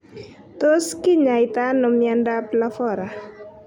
Tos kinyaita ano mionndap lafora?